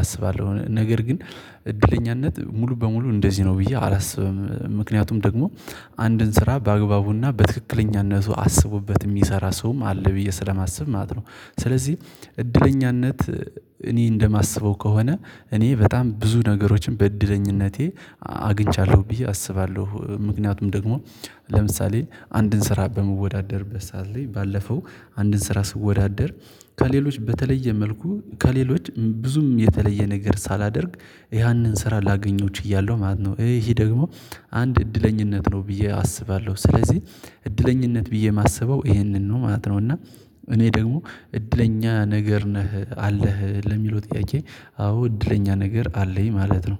አስባለሁ። ነገር ግን እድለኛነት ሙሉ በሙሉ እንደዚህ ነው ብዬ አላስብም። ምክንያቱም ደግሞ አንድን ስራ በአግባቡና በትክክለኛነቱ አስቡበት የሚሰራ ሰውም አለ ብዬ ስለማስብ ማለት ነው። ስለዚህ እድለኛነት እኔ እንደማስበው ከሆነ እኔ በጣም ብዙ ነገሮችን በእድለኝነቴ አግኝቻለሁ ብዬ አስባለሁ። ምክንያቱም ደግሞ ለምሳሌ አንድን ስራ በመወዳደርበት ሰዓት ላይ ባለፈው አንድን ስራ ስወዳደር ከሌሎች በተለየ መልኩ ከሌሎች ብዙም የተለየ ነገር ሳላደርግ ያንን ስራ ላገኘው ችያለሁ ማለት ነው። ይሄ ደግሞ አንድ እድለኛነት ነው ብዬ አስባለሁ። ስለዚህ እድለኛነት ብዬ የማስበው ይሄንን ነው ማለት ነው። እና እኔ ደግሞ እድለኛ ነገር ነህ አለህ ለሚለው ጥያቄ አዎ እድለኛ ነገር አለኝ ማለት ነው